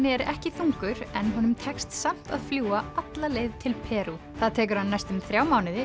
er ekki þungur en honum tekst samt að fljúga alla leið til Perú það tekur hann næstum þrjá mánuði